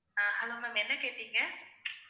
அஹ் hello ma'am என்ன கேட்டிங்க